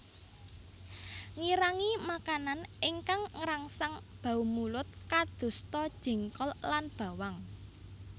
Ngirangi makanan ingkang ngrangsang bau mulut kadosta jengkol lan bawang